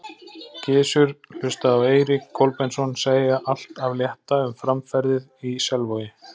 Gizur hlustaði á Eirík Kolbeinsson segja allt af létta um framferðið í Selvogi.